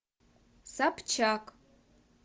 собчак